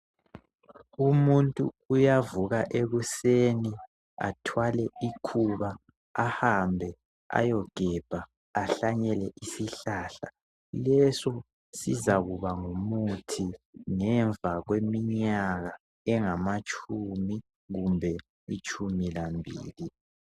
Umuntu uyavuka ekuseni athwale ikhuba ahambe ayegebha ahlanyele isihlahla leso sizakuba ngumuthi ngemva kweminyaka elitshumi kumbe itshumi lambili.